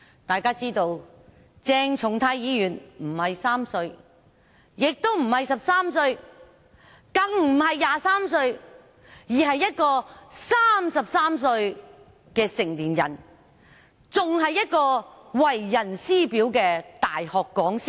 大家知道，鄭松泰議員不是3歲，也不是13歲，更不是23歲，而是一名33歲的成年人，還是為人師表的大學講師。